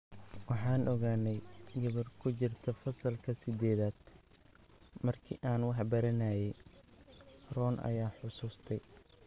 Waxaan aqaanay gabadh ku jirta fasalka siddeedaad markii aan wax baranayay, Ron ayaa xusuustay.